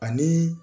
Ani